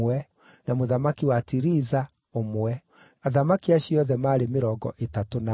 na mũthamaki wa Tiriza, ũmwe; athamaki acio othe maarĩ mĩrongo ĩtatũ na ũmwe.